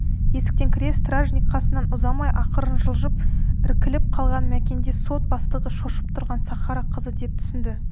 есіктен кіре стражник қасынан ұзамай ақырын жылжып іркіліп қалған мәкенді сот бастығы шошып тұрған сахара қызы деп түсінді